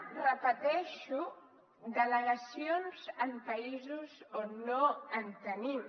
ho repeteixo delegacions en països on no en tenim